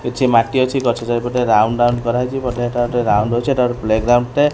କିଛି ମାଟି ଅଛି ଗଛ ଚାରିପଟେ ରାଉଣ୍ଡ ରାଉଣ୍ଡ କରାହେଇଚି ବଢ଼ିଆ ଏଟା ଗୋଟେ ରାଉଣ୍ଡ ଅଛି ଏଟା ଗୋଟେ ପ୍ଲେଗ୍ରାଉଣ୍ଡ ।